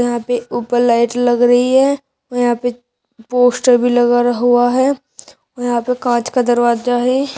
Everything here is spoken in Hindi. यहां पे ऊपर लाइट लग रही है यहां पे पोस्टर भी लगा हुआ है यहां पे कांच का दरवाजा है।